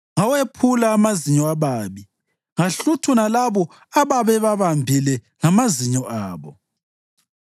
Ngawephula amazinyo ababi ngahluthuna labo ababebabambile ngamazinyo abo.